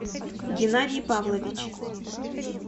геннадий павлович